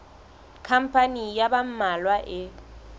khampani ya ba mmalwa e